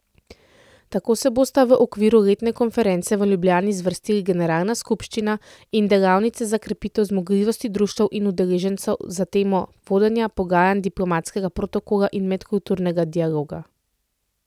Tako se bosta v okviru letne konference v Ljubljani zvrstili generalna skupščina in delavnice za krepitev zmogljivosti društev in udeležencev na temo vodenja, pogajanj, diplomatskega protokola in medkulturnega dialoga.